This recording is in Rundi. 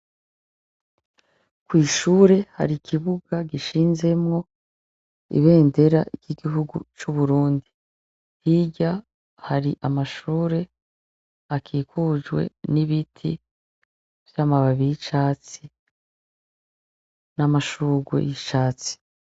Kw'ishure hari ikibuga gishinzemwo ibendera ry'igihugu c'uburundi, hirya hari amashure akikujwe n'ibiti vy'amababi y’icatsi n'amashurwe y’icatsi.